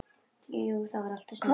Jú það var of snemmt.